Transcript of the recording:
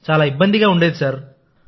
చాలా ఇబ్బందిగా ఉండేది సార్